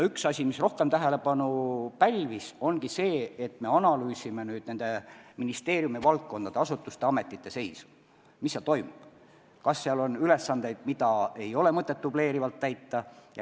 Üks asi, mis rohkem tähelepanu pälvib, ongi see, et me analüüsime ministeeriumide allasutuste-ametite seisu: mis kusagil toimub, kas on ülesandeid, mida ei ole mõtet dubleerivalt täita.